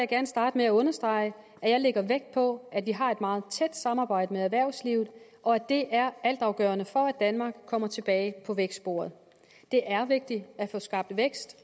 gerne starte med at understrege at jeg lægger vægt på at vi har et meget tæt samarbejde med erhvervslivet og at det er altafgørende for at danmark kommer tilbage på vækstsporet det er vigtigt at få skabt vækst